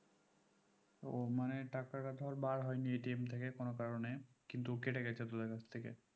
ও মানে টাকাটা ধর বার হয়নি থেকে কোনো কারণে কিন্তু কেটেগেছে তোদের কাছ থেকে